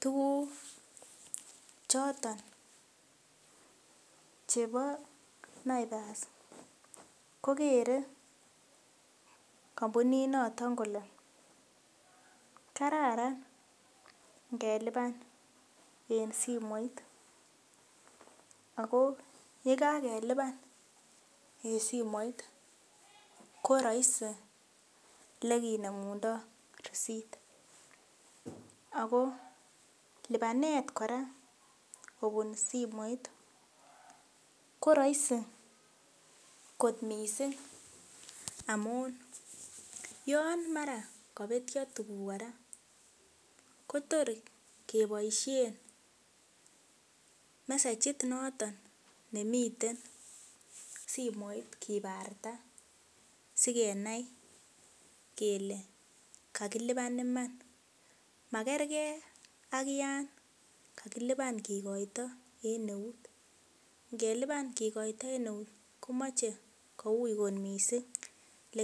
tuguk choton chebo naivas kokere kampuninoto kole kararan ngeliban en simoit akoo yekakeliban en simoit ko rahisi elekinemundoo receiptakoo libanet kora kobun simoit ko rahisi kot missing yon mara kobetyo tuguk kora kotor keboisien messejit noton nemiten simoit kibarta sikenai kele kakiliban iman makerge ak yan kakiliban kikoito en eut, ngeliban kikoito en eut komoche ko ui kot missing lee.